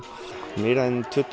meira en tuttugu